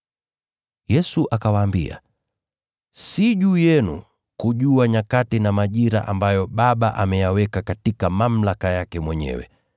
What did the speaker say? Yesu akawaambia, “Si juu yenu kujua nyakati na majira ambayo Baba ameyaweka katika mamlaka yake mwenyewe.